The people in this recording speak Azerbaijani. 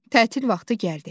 Tətil vaxtı gəldi.